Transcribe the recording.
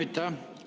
Aitäh!